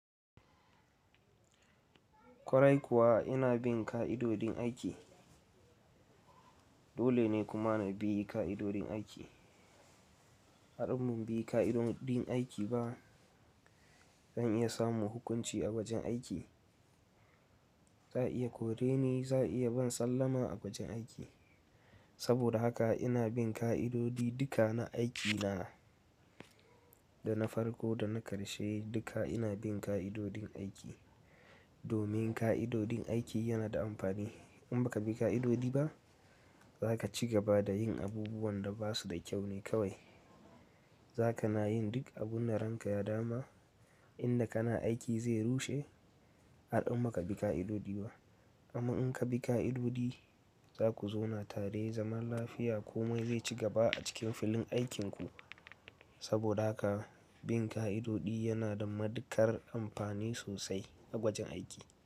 Ƙwarai kuwa ina bin ka'idodin aiki. Dole ne kuma na bi ƙa'idodin aiki. Haɗin bin ka'idodin aiki ba, zan iya samun hukunci a wajen aiki. Za a iya kore ni, za a iya ban sallama a wajen aiki. Saboda haka ina bin ka'idodi duka na aikina. Da na farko da na ƙarshe duka ina bin ka'idodin aiki. Domin ka'idodin aiki yana da amfani. In baka bi ka'idodi ba, zaka ci gaba da yin abubuwan da ba su da kyau ne kawai. Zaka na yin duk abun da ranka ya dama, inda kana aiki zai rushe. Haɗin baka bi ƙa'idodi ba. Amma in ka bi ka'adodi, zaku zauna tare zaman lafiya komai zai ci gaba a cikin filin aikinku. Saboda haka bin ka'adodi yana da matuƙar amfani sosai a wajen aiki.